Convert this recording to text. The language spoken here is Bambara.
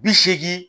Bi seegin